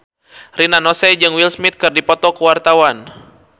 Rina Nose jeung Will Smith keur dipoto ku wartawan